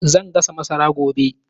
Zan gasa masara gobe